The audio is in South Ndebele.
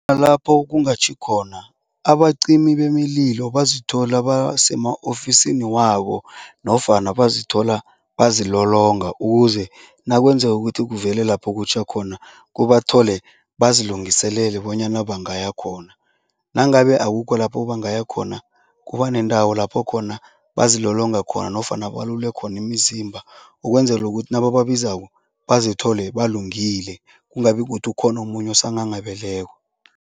Lapho kungatjhi khona abacima bemililo bazithola basema-ofisini wabo nofana bazithola bazilolonga ukuze nakwenzeka ukuthi kuvele lapho kutjha khona, kubathole bazilungiselele bonyana bangaya khona. Nangabe akukho lapho bangaya khona, kuba nendawo lapho khona bazilolonga khona nofana balule khona imizimba ukwenzela ukuthi nabababizako, bazithole balungile, kungabi kukuthi ukhona omunye osanghanghabeleko.